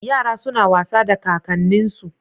Yara suna wasa da kakanninsu.